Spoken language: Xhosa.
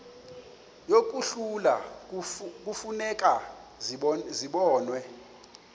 yokuhlola kufuneka zibonwe